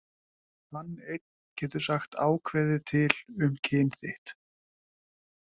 Hann einn getur sagt ákveðið til um kyn þitt.